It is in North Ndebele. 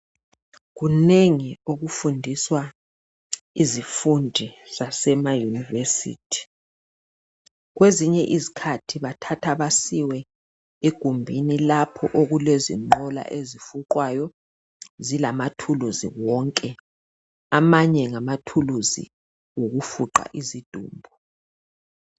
Kunengi okufundiswa izifundi zasemaUniversity. Kwezinye izikhathi bathatha basiwe egumbini lapho okulezinqola ezifuqwayo zilamathuluzi wonke, amanye ngamathuluzi okufuqa izidumbu.